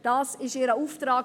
Das ist ihr Auftrag.